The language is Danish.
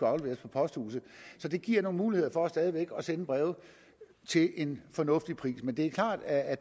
afleveres på posthuset så det giver nogle muligheder for stadig væk at sende breve til en fornuftig pris men det er klart at